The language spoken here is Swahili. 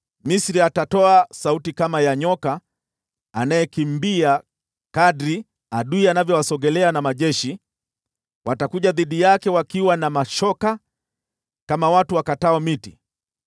Misri atatoa sauti kama ya nyoka anayekimbia kadiri adui anavyowasogelea na majeshi, watakuja dhidi yake wakiwa na mashoka, kama watu wakatao miti.